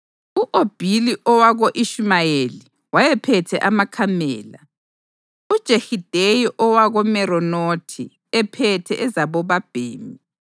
U-Obhili owako-Ishumayeli wayephethe amakamela, uJehideya owakoMeronothi ephethe ezabobabhemi.